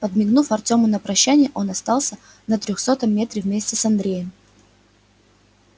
подмигнув артёму на прощание он остался на трёхсотом метре вместе с андреем